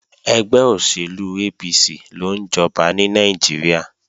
Ẹgbẹ́ òṣèlú APC ló ń jọba ní Nàìjíríà